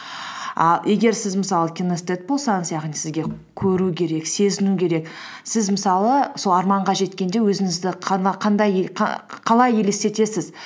ііі егер сіз мысалы кинестед болсаңыз яғни сізге көру керек сезіну керек сіз мысалы сол арманға жеткенде өзіңізді қалай елестетесіз